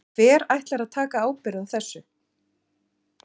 Hver ætlar að taka ábyrgð á þessu?